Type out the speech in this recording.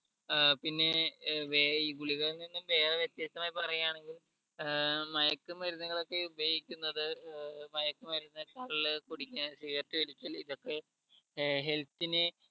ഏർ പിന്നെ ഏർ വേ ഈ ഗുളികകളിൽ നിന്ന് വേറെ വ്യത്യസ്തമായി പറയാണെങ്കിൽ ഏർ മയക്കു മരുന്നുകൾ ഒക്കെ ഉപയോഗിക്കുന്നത് ഏർ മയക്കുമരുന്ന് കള്ള് കുടിക്ക സിഗരറ്റു വലിക്കല് ഇതൊക്കെ ഏർ health നെ